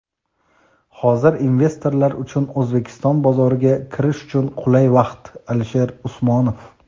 Hozir investorlar uchun O‘zbekiston bozoriga kirish uchun qulay vaqt – Alisher Usmonov.